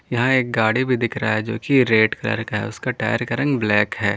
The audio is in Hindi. यहां एक गाड़ी भी दिख रहा है जोकि रेड कलर का है उसका टायर का रंग ब्लैक है।